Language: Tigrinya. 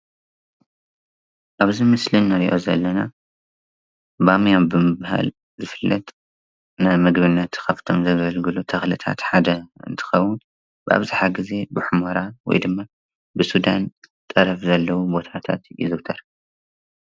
ኣብዚይ ምስሊ እንሪእዮ ዘለና ባምያ ብምብሃል ዝፍለጥ ንምግብነት ካብቶም ዘገልግሉ ተኽልታት ሓደ እንትከውን ብኣብዝሓ ግዜ ብሑሞራ ወይ ድማ ብሱዳን ጠረፍ ዘለው ባታታት ይዝውተር።